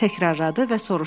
Təkrarıda və soruşdu.